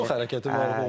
Çox hərəkəti var idi.